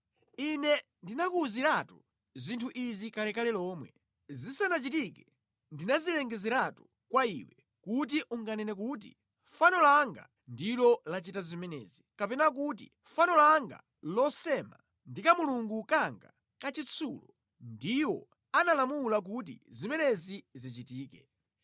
Ine ndinakuwuziratu zinthu izi kalekale lomwe; zisanachitike ndinazilengezeratu kwa iwe kuti unganene kuti, ‘Fano langa ndilo lachita zimenezi, kapena kuti fano langa losema ndi kamulungu kanga kachitsulo ndiwo analamula kuti zimenezi zichitike.’